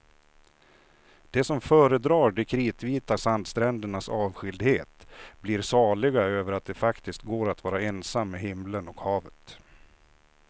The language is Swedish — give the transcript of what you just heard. De som föredrar de kritvita sandsträndernas avskildhet blir saliga över att det faktiskt går att vara ensam med himlen och havet.